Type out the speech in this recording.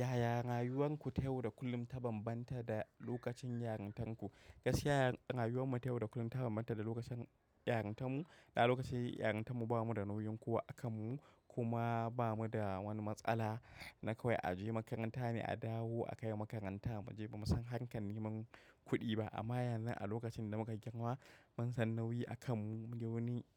Yaya rayuwanku ta yau da kullum ta bambanta da lokacin yarintarku? Gaskiya rayuwar mu ta yau da kullum ta bambanta da lokacin yarintan mu. Da lokaci yarintan mu ba mu da nauyin kowa a kan mu kuma ba mu da wani matsala. Na kawai a je makaranta ne a dawo a kai makaranta. Na muje bamu san harkar neman kudi ba amma yanzu a lokacin da muka girma ban san nauyi a kan mu,